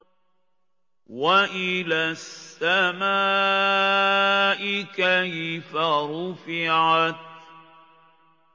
وَإِلَى السَّمَاءِ كَيْفَ رُفِعَتْ